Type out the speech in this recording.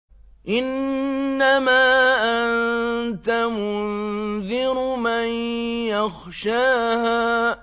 إِنَّمَا أَنتَ مُنذِرُ مَن يَخْشَاهَا